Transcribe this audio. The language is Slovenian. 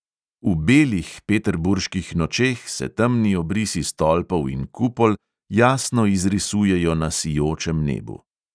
V "belih" peterburških nočeh se temni obrisi stolpov in kupol jasno izrisujejo na sijočem nebu.